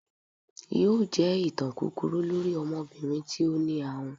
yóò jẹ ìtàn kúkúrú lorí ọmọbirin tí o ní àhùn.